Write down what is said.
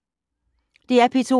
DR P2